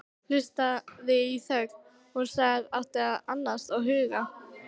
Hlustaði í þögn, hún sem átti að annast og hugga.